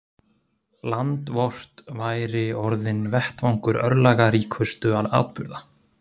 Land vort væri orðinn vettvangur örlagaríkustu atburða.